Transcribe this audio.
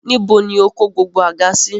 Níbo ni o kó gbogbo àga sí?